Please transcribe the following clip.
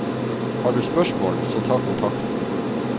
Har du spørsmål, så ta kontakt.